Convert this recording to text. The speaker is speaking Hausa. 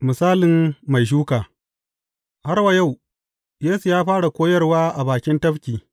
Misalin mai shuka Har wa yau, Yesu ya fara koyarwa a bakin tafki.